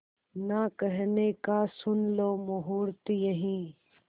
ना कहने का सुन लो मुहूर्त यही